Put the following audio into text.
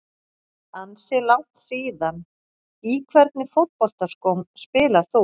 Ansi langt síðan Í hvernig fótboltaskóm spilar þú?